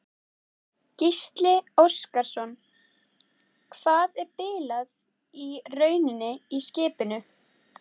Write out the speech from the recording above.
Gísli Óskarsson: Hvað er bilað í rauninni í skipinu?